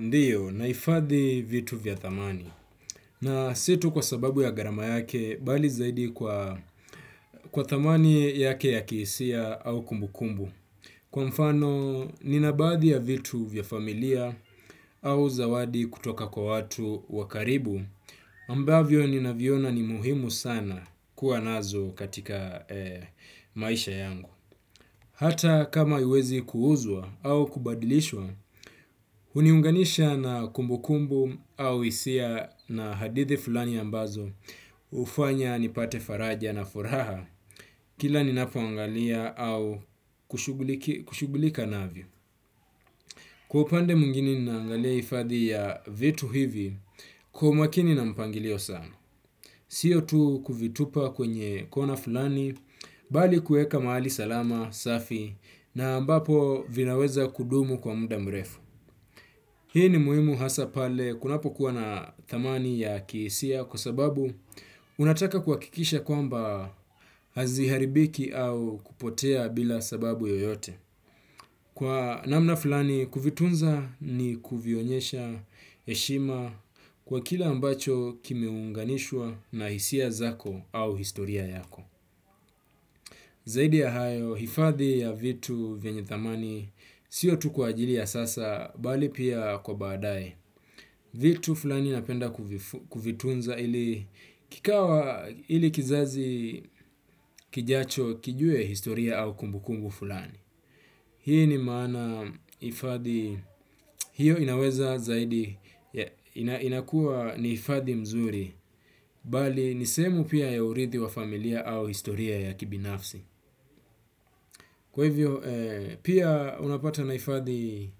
Ndiyo, nahifadhi vitu vya thamani. Na si tu kwa sababu ya garama yake, bali zaidi kwa thamani yake ya kihisia au kumbukumbu. Kwa mfano, nina baadhi ya vitu vya familia au zawadi kutoka kwa watu wakaribu, ambavyo ni naviona ni muhimu sana kuwa nazo katika maisha yangu. Hata kama haiwezi kuuzwa au kubadilishwa, huniunganisha na kumbu kumbu au hisia na hadithi fulani ambazo hufanya nipate faraja na furaha kila ninapoangalia au kushugulika navio. Kwa upande mwingine nina angalia hifadhi ya vitu hivi kwaumakini na mpangilio sana. Sio tu kuvitupa kwenye kona fulani bali kueka mahali salama, safi na ambapo vinaweza kudumu kwa muda mrefu. Hii ni muhimu hasa pale kunapo kuwa na thamani ya kihisia kwa sababu unataka kuhakikisha kwamba haziharibiki au kupotea bila sababu yoyote. Kwa namna fulani kuvitunza ni kuvionyesha heshima kwa kila ambacho kimeunganishwa na hisia zako au historia yako. Zaidi ya hayo, hifadhi ya vitu vyenye thamani, sio tu kwa ajili ya sasa, bali pia kwa baadae. Vitu fulani napenda kuvitunza ili kikawa ili kizazi kijacho kijue historia au kumbukumbu fulani. Hii ni maana hifadhi, hiyo inaweza zaidi, inakua ni hifadhi mzuri, bali nisehemu pia ya urithi wa familia au historia ya kibinafsi. Kwa hivyo, pia unapata nahifadhi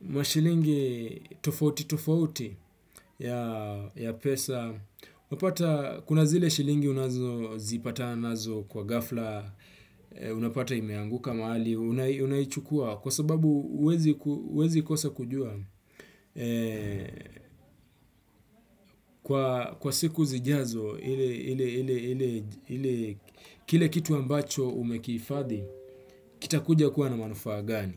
mashilingi tofauti tofauti ya pesa. Kuna zile shilingi unazo zipataanazo kwa gafla, unapata imeanguka mahali, unaichukua. Kwa sababu huwezi kosa kujua kwa siku zijazo ili kile kitu ambacho umekihifadhi. Kita kuja kuwa na manufaa gani?